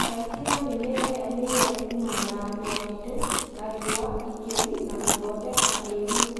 Thaitĩra mĩmera ĩyo mĩerũ kumana na huho nditũ na riũa ikĩru na gũthondeka kĩruru